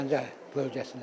Gəncə bölgəsinə.